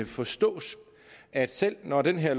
forstås at selv når det her